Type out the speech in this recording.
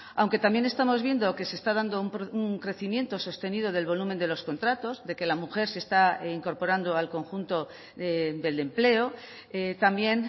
aunque también estamos viendo que se está dando un crecimiento sostenido del volumen de los contratos de que la mujer se está incorporando al conjunto del empleo también